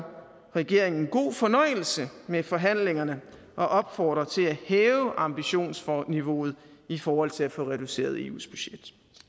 regeringen god fornøjelse med forhandlingerne og opfordrer til at hæve ambitionsniveauet i forhold til at få reduceret eus budget